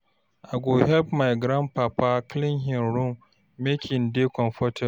I go help my grandpapa clean him room make e dey comfortable.